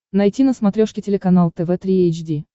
найти на смотрешке телеканал тв три эйч ди